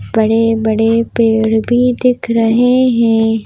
बड़े-बड़े पैर भी दिख रहे हैं।